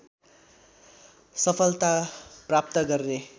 सफलता प्राप्त गर्ने